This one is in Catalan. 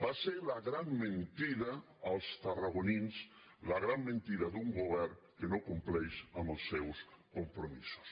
va ser la gran mentida als tarragonins la gran mentida d’un govern que no compleix els seus compromisos